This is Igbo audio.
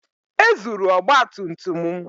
Ezuru ọgba tum tum m.